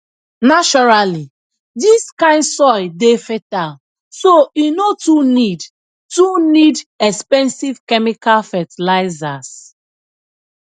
naturally dis kind soil dey fertile so e no too need too need expensive chemical fertilizers